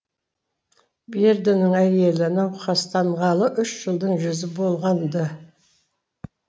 бердінің әйелі науқастанғалы үш жылдың жүзі болған ды